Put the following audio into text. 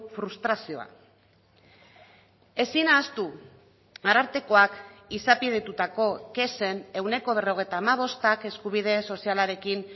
frustrazioa ezin ahaztu arartekoak izapidetutako kexen ehuneko berrogeita hamabostak eskubide sozialarekin